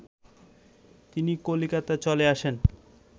তিনি কলকাতায় চলে আসেন